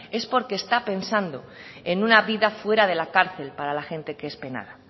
es porque está pensando en una vida fuera de la cárcel para la gente que es penada